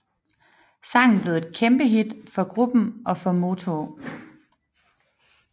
Sangen blev et kæmpehit for gruppen og for Motown